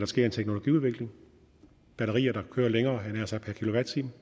sker en teknologiudvikling batterier der kører længere per kilowatt time